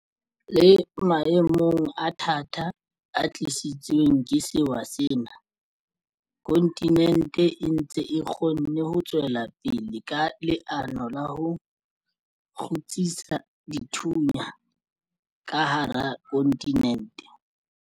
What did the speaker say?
Le maemong a thata a tlisitsweng ke sewa sena, kontinente e ntse e kgonne ho tswela pele ka leano la ho kgutsisa dithunya ka hara kontinente.